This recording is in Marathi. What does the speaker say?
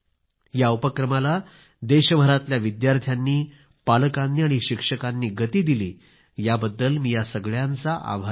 या उपक्रमाला देशभरातील विद्यार्थ्यांनी पालकांनी आणि शिक्षकांनी गती दिली याबद्दल मी ह्या सगळ्यांचा आभारी आहे